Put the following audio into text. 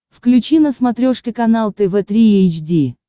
включи на смотрешке канал тв три эйч ди